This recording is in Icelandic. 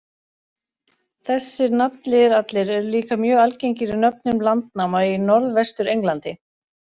Þessir nafnliðir allir eru líka mjög algengir í nöfnum landnáma í Norðvestur-Englandi.